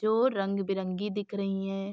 जो रंग बिरंगी दिख रही हैं।